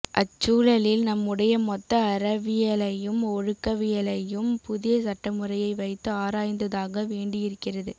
அச்சூழலில் நம்முடைய மொத்த அறவியலையும் ஒழுக்கவியலையும் புதிய சட்டமுறையை வைத்து ஆராய்ந்தாக வேண்டியிருக்கிறது